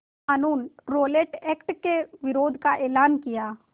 क़ानून Rowlatt act के विरोध का एलान किया